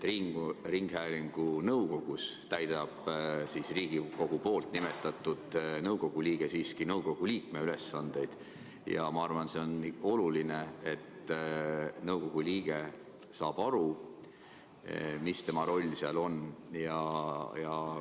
Ringhäälingu nõukogus täidab Riigikogu nimetatud nõukogu liige siiski nõukogu liikme ülesandeid, ja ma arvan, et see on oluline, et nõukogu liige saab aru, mis tema roll seal on.